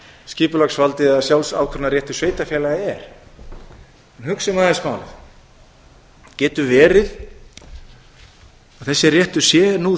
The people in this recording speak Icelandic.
skipulagsvaldið eða sjálfsákvörðunarréttur sveitarfélaga er en hugsum nú aðeins málið getur verið að þessi réttur sé nú